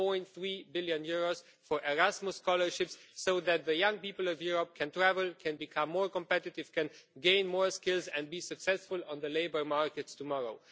2.3 billion for Erasmus scholarships so that the young people of Europe can travel, can become more competitive, can gain more skills and can be successful on the labour markets tomorrow.